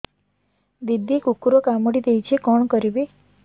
ଦିଦି କୁକୁର କାମୁଡି ଦେଇଛି କଣ କରିବି